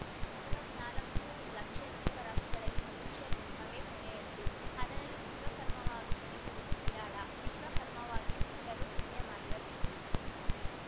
ಐವತ್ನಾಲ್ಕು ಲಕ್ಷ ಜೀವರಾಶಿಗಳಲ್ಲಿ ಮನುಷ್ಯ ಜನ್ಮವೇ ಕೊನೆಯದ್ದು ಅದರಲ್ಲೂ ವಿಶ್ವಕರ್ಮವಾಗಿ ಜನಿಸುವುದು ವಿರಾಳ ವಿಶ್ವಕರ್ಮನಾಗಿ ಹುಟ್ಟಲು ಪುಣ್ಯ ಮಾಡಿರಬೇಕು